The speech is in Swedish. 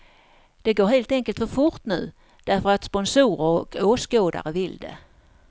Det går helt enkelt för fort nu, därför att sponsorer och åskådare vill det.